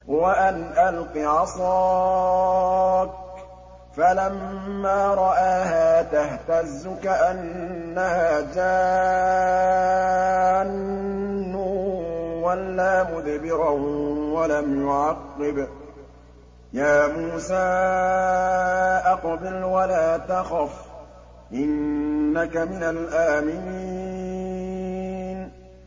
وَأَنْ أَلْقِ عَصَاكَ ۖ فَلَمَّا رَآهَا تَهْتَزُّ كَأَنَّهَا جَانٌّ وَلَّىٰ مُدْبِرًا وَلَمْ يُعَقِّبْ ۚ يَا مُوسَىٰ أَقْبِلْ وَلَا تَخَفْ ۖ إِنَّكَ مِنَ الْآمِنِينَ